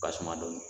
Basuma dɔɔnin